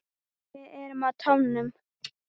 Við erum á tánum.